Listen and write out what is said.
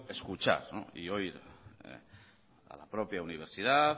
escuchar y oír a la propia universidad